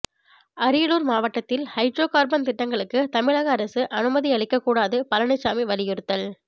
அரியலூர் மாவட்டத்தில் hydro carbon திட்டங்களுக்கு தமிழக அரசு அனுமதி அளிக்கக் கூடாது பழனிசாமி வலியுறுத்தல்